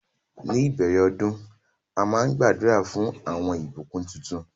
Ní ìbèrè òdún àmà n gbàdúrà fún awọn ìbùkún títún